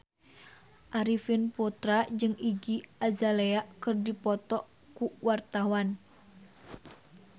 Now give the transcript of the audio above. Arifin Putra jeung Iggy Azalea keur dipoto ku wartawan